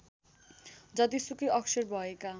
जतिसुकै अक्षर भएका